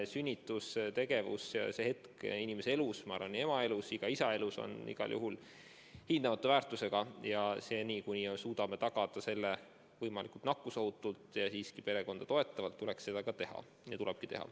Sünnitustegevus, kogu see hetk inimese elus – ma arvan, nii ema kui ka isa elus – on igal juhul hindamatu väärtusega ja seni, kuni me suudame tagada selle võimalikult nakkusohutult ja võimalikult perekonda toetavalt, tuleks seda teha.